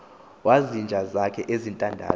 wezinja zakhe ezintandathu